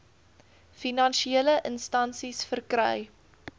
finansiële instansies verkry